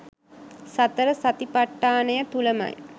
සතර සතිපට්ඨානය තුළමයි.